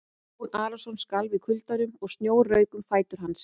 Jón Arason skalf í kuldanum og snjór rauk um fætur hans.